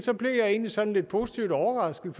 blev jeg egentlig sådan lidt positivt overrasket